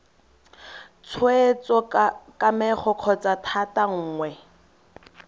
tshweetso kamego kgotsa thata nngwe